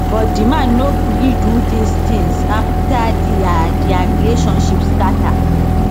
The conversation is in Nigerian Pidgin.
but di man no gree do these tins afta dia dia relationship scata